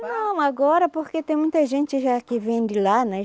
Não, agora porque tem muita gente já que vem de lá, né?